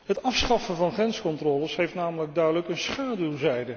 Het afschaffen van grenscontroles heeft namelijk duidelijk een schaduwzijde.